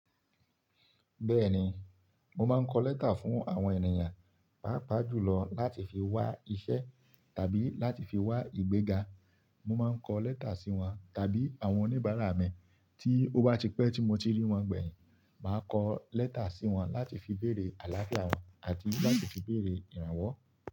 Bẹ́ẹ̀ni, mo máa ń kọ lẹ́tà fún àwọn ènìyàn, pàápàá jùlọ láti fi wá iṣẹ́ àbí láti fi wá ìgbéga. Mo máa ń kọ lẹ́tà sí wọn tàbí àwọn oníbàárà mi tí ó bá ti pẹ́ tí mo ti rí wọn gbẹ̀yìn, màá kọ lẹ́tà sí wọn láti fi bèrè àláfíà wọn àti láti fi bèrè ìrànwọ́.